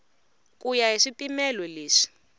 ku ya hi swipimelo leswi